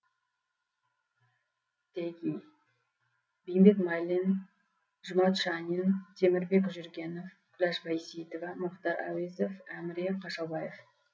теги бейімбет майлин жұмат шанин темірбек жүргенов күләш байсейітова мұхтар әуезов әміре қашаубаев